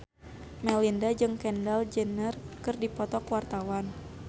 Melinda jeung Kendall Jenner keur dipoto ku wartawan